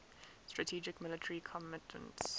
strategic military commitments